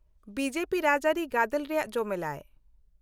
-B J P ᱨᱟᱡᱽᱼᱟᱹᱨᱤ ᱜᱟᱫᱮᱞ ᱨᱮᱭᱟᱜ ᱡᱚᱢᱮᱞᱟᱭ ᱾